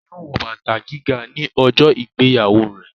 Yóò wọ bàtà gíga ní ọjọ́ ìgbéyàwó rẹ̀